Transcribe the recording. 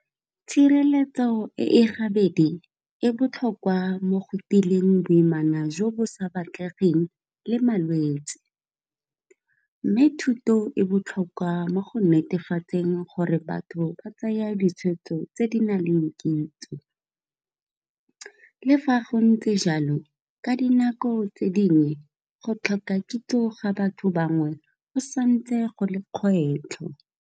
Tshireletso e gabedi e botlhokwa mo go tileng boimana jo bo sa batlegeng le malwetsi, mme thuto e botlhokwa mo go netefatseng gore batho ba tsaya ditshwetso tse di naleng kitso. Le fa go ntse jalo ka dinako tse dingwe go tlhoka kitso ga batho bangwe go santse go le kgwetlho